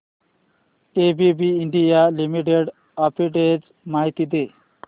ABB India Limited arbitrage माहिती दे